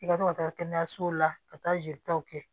I ka to ka taa kɛnɛyasow la ka taa jelitaw kɛ